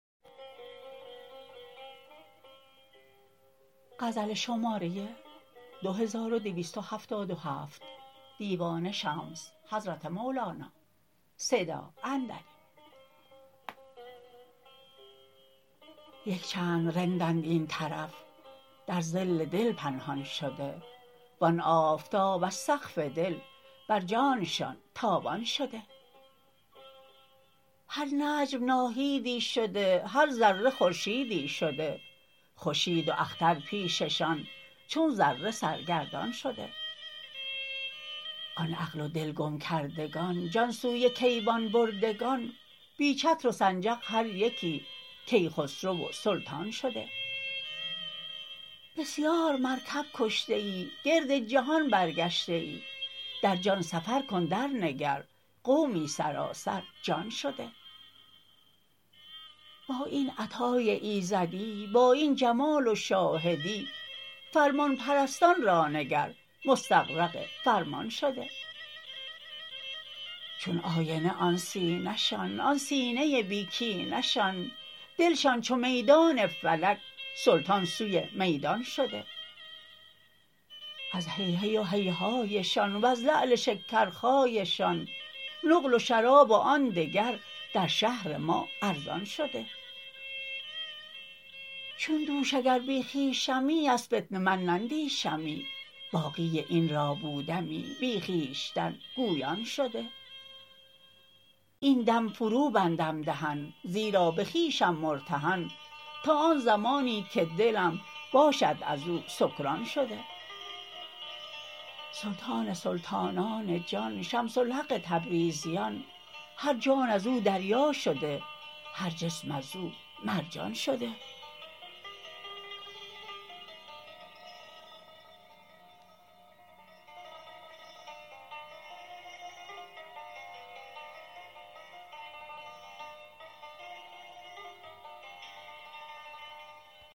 یک چند رندند این طرف در ظل دل پنهان شده و آن آفتاب از سقف دل بر جانشان تابان شده هر نجم ناهیدی شده هر ذره خورشیدی شده خورشید و اختر پیششان چون ذره سرگردان شده آن عقل و دل گم کردگان جان سوی کیوان بردگان بی چتر و سنجق هر یکی کیخسرو و سلطان شده بسیار مرکب کشته ای گرد جهان برگشته ای در جان سفر کن درنگر قومی سراسر جان شده با این عطای ایزدی با این جمال و شاهدی فرمان پرستان را نگر مستغرق فرمان شده چون آینه آن سینه شان آن سینه بی کینه شان دلشان چو میدان فلک سلطان سوی میدان شده از هیهی و هیهایشان وز لعل شکرخایشان نقل و شراب و آن دگر در شهر ما ارزان شده چون دوش اگر بی خویشمی از فتنه من نندیشمی باقی این را بودمی بی خویشتن گویان شده این دم فروبندم دهن زیرا به خویشم مرتهن تا آن زمانی که دلم باشد از او سکران شده سلطان سلطانان جان شمس الحق تبریزیان هر جان از او دریا شده هر جسم از او مرجان شده